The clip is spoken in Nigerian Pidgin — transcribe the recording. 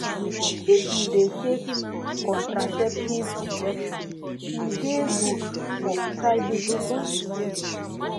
if you de take contraceptive injection e de good for privacy and free